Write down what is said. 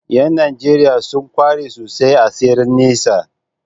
’Yan Najeriya sun kware sosai a tseren nesa